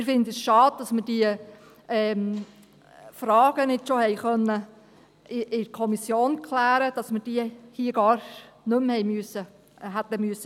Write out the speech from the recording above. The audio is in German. Wir finden es schade, dass wir diese Fragen nicht schon in der Kommission klären konnten, sodass man sie hier gar nicht mehr hätte stellen müssen.